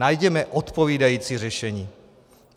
Najděme odpovídající řešení.